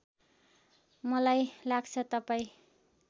मलाई लाग्छ तपाईँ